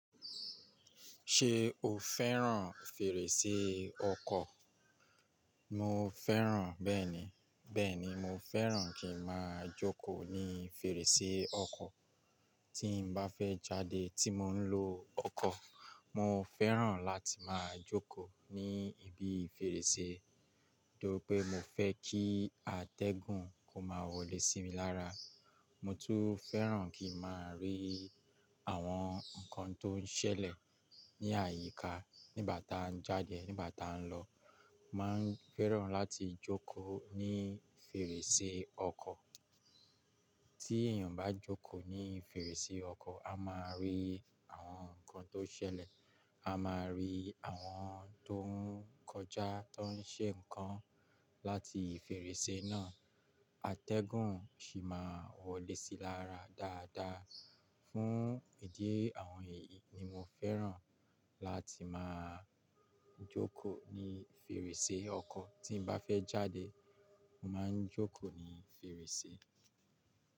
Ṣé o fẹ́ràn fèrèsé ọkọ̀? Mo fẹ́ràn bẹ́ẹ̀ni, bẹ́ẹ̀ni mo fẹ́ràn kí n máa jókòó ní fèrèsé ọkọ̀. Tí mo bá fẹ́ jáde tí mo ń lo ọkọ̀, mo fẹ́ràn láti máa jókòó ní ibi fèrèsé, tọ́ri pé mo fẹ́ kí atẹ́gùn kó máa wọlé sí mi lára. Mo tún fẹ́ràn kí n máa rí àwọn nǹkan tó ń ṣẹlẹ̀ ní àyíká nígbà tá n jáde, nígbà tá ń lọ. Má ń fẹ́ràn láti jókòó ní fèrèsé ọkọ̀. Tí èèyàn bá jókòó ní fèrèsé ọkọ̀, a máa rí àwọn nǹkan tó ń ṣẹlẹ̀, a máa rí àwọn tó ń kọjá tó ń ṣe ǹkan láti fèrèsé náà. Atẹ́gùn sì máa wọlé sí i lára dáadáa. Fún ìdí ẹ àwọn yìí ni mo fẹ́ràn láti máa jókòó ní fèrèsé ọkọ̀. Tí mo bá fẹ́ jáde, mo máa ń jókòó ní fèrèsé.